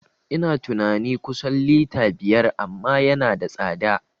Ina tunani kusan lita biyar amma yana da tsada